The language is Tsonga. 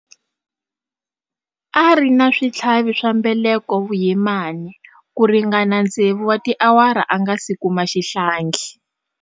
A ri na switlhavi swa mbeleko vuyimani ku ringana tsevu wa tiawara a nga si kuma xihlangi.